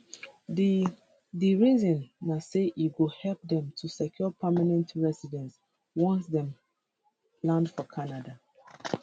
di di reason na say e go help dem to secure permanent recidency once dem land for canada